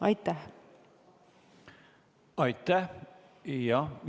Aitäh!